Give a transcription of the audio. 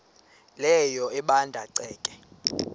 leyo ebanda ceke